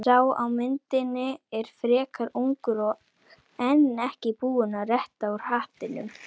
Sá á myndinni er frekar ungur og enn ekki búinn að rétta úr hattinum.